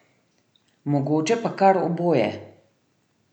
Mogoče pa kar oboje.